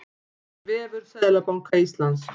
Vefur Seðlabanka Íslands.